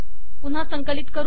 पुन्हा संकलित करू